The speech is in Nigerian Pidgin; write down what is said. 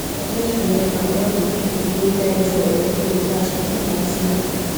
i just remember all the people wey die for aeroplane crash e be like film